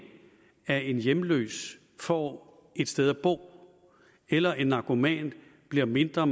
at en hjemløs får et sted at bo eller en narkoman bliver mindre